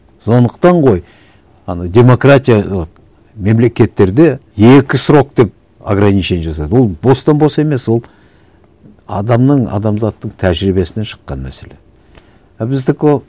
сондықтан ғой ана демократиялық мемлекеттерде екі срок деп органичение жасады ол бостан бос емес ол адамның адамзаттың тәжірибесінен шыққан мәселе а біздікі